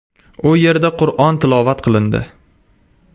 U yerda Qur’on tilovat qilindi.